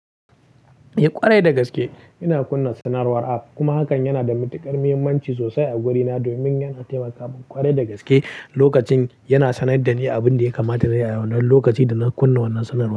Eh ƙwarai da gaske ina kunna sanarwar app kuma hakan yana da matuƙar muhimmanci sosai a gurina domin yana taimaka min ƙwarai da gaske lokacin yana sanar da ni abin da ya kamata nayi a wannan lokaci da na kunna wannan sanarwar.